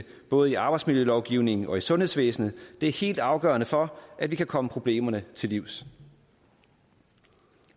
både arbejdsmiljølovgivningen og sundhedsvæsenet er helt afgørende for at vi kan komme problemerne til livs